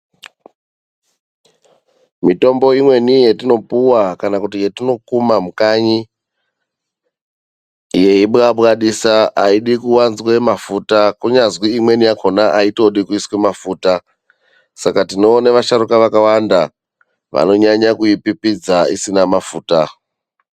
Mitombo imweni yetinopuwa kana kuti yetinokuma mukanyi, yeibwabwadisa aidi kuwanzwe mafuta kunyazwi imweni yakhona aitodi kuiswe mafuta. Saka tinoone vasharuka vakawanda vanonyanya kuipipidza isina mafuta.